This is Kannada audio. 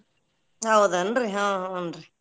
ಹೌದೇನ್ರಿ ಹು ಹುಂ ರೀ.